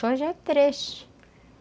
Só já é três.